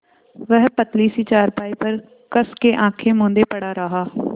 वह पतली सी चारपाई पर कस के आँखें मूँदे पड़ा रहा